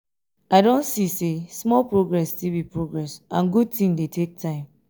i don see say small progress still be progress and good thing dey take time